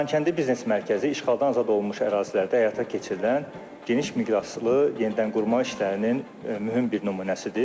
Xankəndi biznes mərkəzi işğaldan azad olunmuş ərazilərdə həyata keçirilən geniş miqyaslı yenidən qurma işlərinin mühüm bir nümunəsidir.